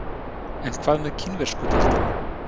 En hvað með kínversku deildina?